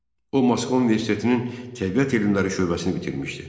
O Moskva Universitetinin təbiət elmləri şöbəsini bitirmişdi.